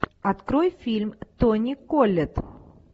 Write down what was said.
открой фильм тони коллетт